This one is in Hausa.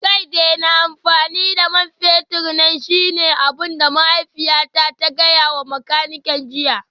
Ka daina amfani da man fetur na shine abin da mahaifiyata ta gaya wa makanikin jiya